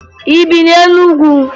Ị bi na Enugwu?